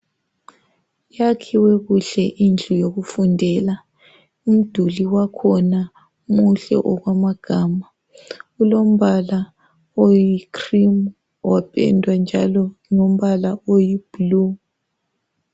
Yakhiwe kuhle indlu yokufundela umduli wakhona muhle okwamagama ulombala oyikhirimu wapendwa njalo ngombala oyibhulu.